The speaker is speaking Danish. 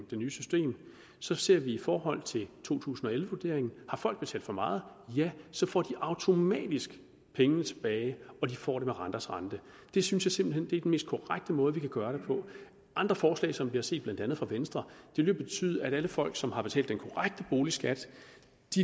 det nye system så ser vi i forhold til to tusind og elleve vurderingen har folk betalt for meget ja så får de automatisk pengene tilbage og de får dem med renters rente det synes jeg simpelt mest korrekte måde vi kan gøre det på andre forslag som vi har set blandt andet fra venstre vil betyde at alle folk som har betalt den korrekte boligskat